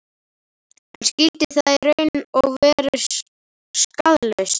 En skyldi það í raun vera svona skaðlaust?